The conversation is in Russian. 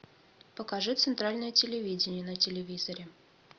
покажи центральное телевидение на телевизоре